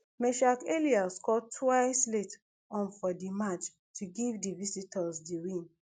meschack elia score twice late on for di match to give di visitors di win